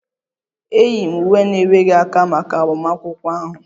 E yi m uwe na-enweghi aka maka agbamakwụkwọ ahụ